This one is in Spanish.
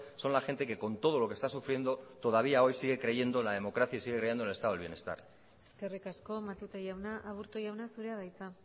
son la gente que con todo lo que están sufriendo todavía hoy siguen creyendo en la democracia y siguen creyendo en el estado del bienestar eskerrik asko matute jauna aburto jauna zurea da hitza